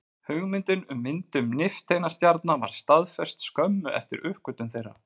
Hugmyndin um myndun nifteindastjarna var staðfest skömmu eftir uppgötvun þeirra.